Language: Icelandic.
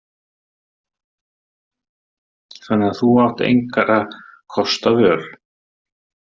Þannig að þú átt engra kosta völ.